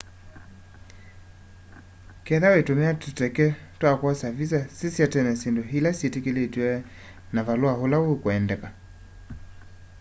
ketha wĩtũmĩa tũteka twa kwosa vĩsa sĩsya tene syĩndũ ĩla syĩtĩkĩlĩtwe na na valũa ũla wĩkwendeka